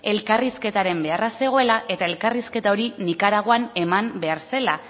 elkarrizketaren beharra zegoela eta elkarrizketa hori nikaraguan eman behar zela